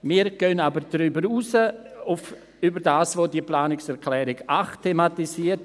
Wir gehen aber über das hinaus, was die Planungserklärung 8 thematisiert.